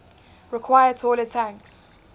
require taller tanks